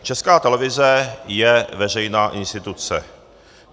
Česká televize je veřejná instituce.